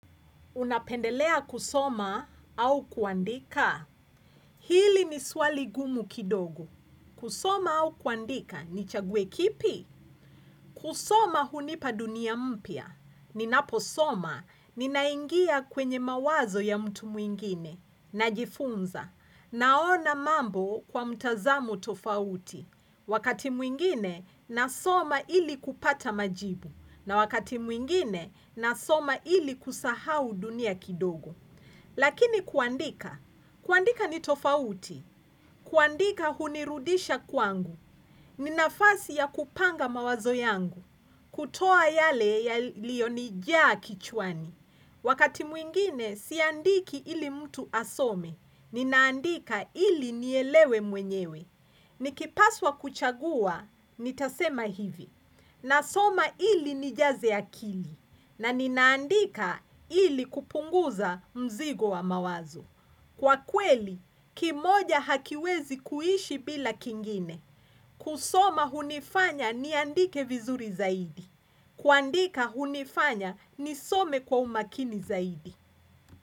Unapendelea kusoma au kuandika? Hili ni swali ngumu kidogo. Kusoma au kuandika ni chague kipi? Kusoma hunipa dunia mpya. Ninaposoma ninaingia kwenye mawazo ya mtu mwingine. Najifunza. Naona mambo kwa mtazamo tofauti. Wakati mwingine nasoma ili kupata majibu na wakati mwingine nasoma ili kusahau dunia kidogo. Lakini kuandika, kuandika ni tofauti, kuandika hunirudisha kwangu, ni nafasi ya kupanga mawazo yangu, kutoa yale yaliyo nijaa kichwani. Wakati mwingine, siandiki ili mtu asome. Ninaandika ili nielewe mwenyewe. Nikipaswa kuchagua, nitasema hivi. Nasoma ili nijaze akili. Naninaandika ili kupunguza mzigo wa mawazo. Kwa kweli, kimoja hakiwezi kuishi bila kingine. Kusoma hunifanya ni andike vizuri zaidi. Kuandika hunifanya nisome kwa umakini zaidi.